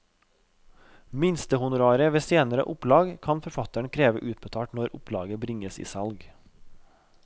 Minstehonoraret ved senere opplag kan forfatteren kreve utbetalt når opplaget bringes i salg.